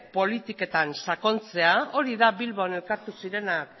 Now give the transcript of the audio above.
politiketan sakontzea hori da bilbon elkartu zirenak